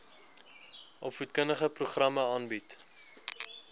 opvoedkundige programme aanbied